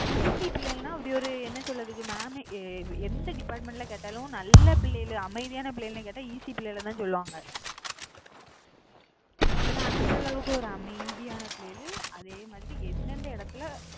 ECE பிள்ளைங்கள்னா அப்படி ஒரு என்ன சொல்றது? mam யே எந்த department ல கேட்டாலும் நல்ல பிள்ளைங்க அமைதியான பிள்ளைகள்னு கேட்டா ECE பிள்ளைகளைதான் சொல்லுவாங்க, ஏன்னா அந்த அளவுக்கு ஒரு அமைதியான பிள்ளைகளு அதே மாதிரி எந்தெந்த இடத்துல